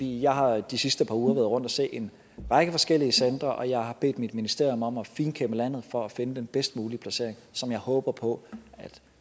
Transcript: jeg har de sidste par uger været rundt og se en række forskellige centre og jeg har bedt mit ministerium om at finkæmme landet for at finde den bedst mulige placering som jeg håber på at